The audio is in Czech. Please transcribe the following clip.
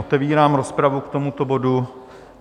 Otevírám rozpravu k tomuto bodu.